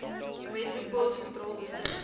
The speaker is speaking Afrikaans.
metropool sentraal distrik